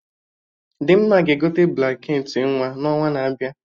Dimma ga-egote blanket ị nwa n'ọnwa na-abịa